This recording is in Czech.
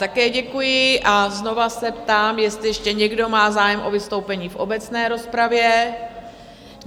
Také děkuji a znova se ptám, jestli ještě někdo má zájem o vystoupení v obecné rozpravě?